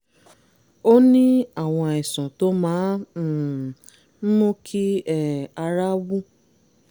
o ní àwọn àìsàn tó máa um ń mú kí um ara wú